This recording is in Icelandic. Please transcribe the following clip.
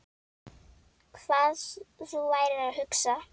Hvað þú værir að hugsa.